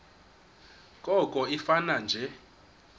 koko ifane nje